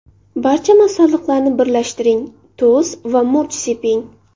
Barcha masalliqlarni birlashtiring, tuz va murch seping.